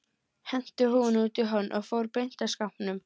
Henti húfunni út í horn og fór beint að skápnum.